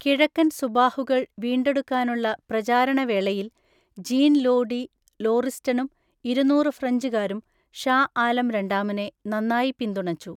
കിഴക്കൻ സുബാഹുകൾ വീണ്ടെടുക്കാനുള്ള പ്രചാരണ വേളയിൽ ജീൻ ലോ ഡി ലോറിസ്റ്റണും ഇരുന്നൂറ് ഫ്രഞ്ചുകാരും ഷാ ആലം രണ്ടാമനെ നന്നായി പിന്തുണച്ചു.